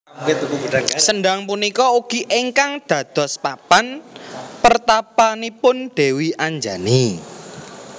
Sendhang punika ugi ingkang dados papan pertapanipun Dewi Anjani